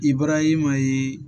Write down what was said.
I bɔra i ma ye